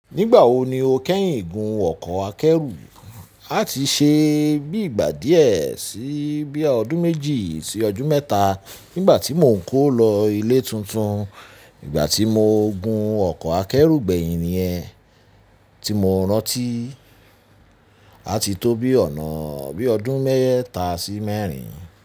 Nígbà wo ni o kẹ́yìn gun ọkọ̀ akẹ́rù? A ti ṣe bí ìgbà díẹ̀ sí bí i ọdún méjì sí ọdún mẹ́ta nígbà tí mò ń kó lọ ilé tuntun. Nígbà tí mo gun ọkọ̀ akẹ́rù gbẹ̀yìn ni ẹ́, tí mo rántí a ti tó bí ọ̀nà bí ọdún mẹ́ta sí mẹ́rin.